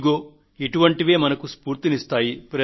ఇదిగో ఇటువంటివే మనకు స్ఫూర్తిని అందిస్తాయి